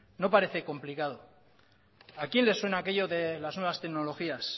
no parece complicado a quién le suena aquello de las nuevas tecnologías